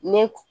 Ne